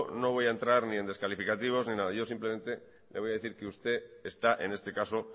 no voy a entrar ni en descalificativos ni en nada yo simplemente le voy a decir que usted está en este caso